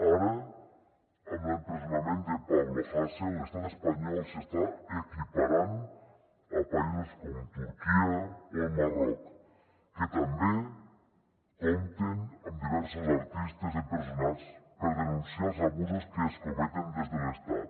ara amb l’empresonament de pablo hasél l’estat espanyol s’està equiparant a països com turquia o el marroc que també compten amb diversos artistes empresonats per denunciar els abusos que es cometen des de l’estat